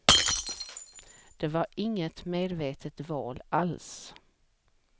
Det var inget medvetet val alls.